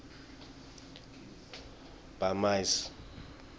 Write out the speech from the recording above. bamise